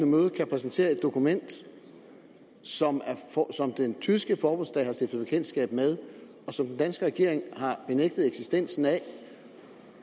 møde kan præsentere et dokument som den tyske forbundsdag har stiftet bekendtskab med og som den danske regering har benægtet eksistensen af